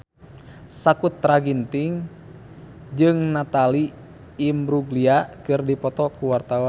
Sakutra Ginting jeung Natalie Imbruglia keur dipoto ku wartawan